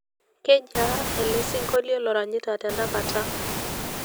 kijiaa ele sinkolio loranyita tenakata